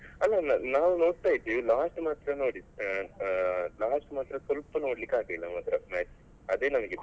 ಅಲ್ಲ ಅಲ್ಲ ನಾವು ನೋಡ್ತಾ ಇದ್ವಿ last ಮಾತ್ರ ನೋಡಿದ್ ಅಹ್ ಅಹ್ last ಮಾತ್ರ ಸ್ವಲ್ಪ ನೋಡ್ಲಿಕ್ಕೆ ಆಗ್ಲಿಲ್ಲ ಮಾತ್ರ match ಅದೇ ನನಗೆ ಬೇಜಾರು.